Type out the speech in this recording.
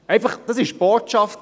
Das war die Botschaft.